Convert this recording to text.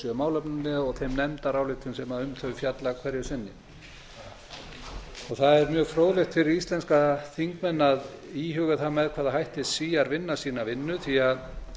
sjö málefni að og þeim nefndaráætlunum sem um þau fjalla hverju sinni það er mjög fróðlegt fyrir íslenska þingmenn að íhuga það með hvaða hætti svíar vinna sína vinnu því að